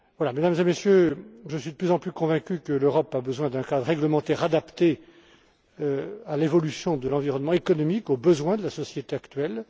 Mesdames et Messieurs, je suis de plus en plus convaincu que l'Europe a besoin d'un cadre réglementaire adapté à l'évolution de l'environnement économique, aux besoins de la société actuelle.